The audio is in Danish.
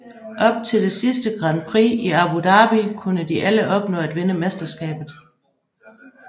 Op til det sidste Grand prix i Abu Dhabi kunne de alle opnå at vinde mesterskabet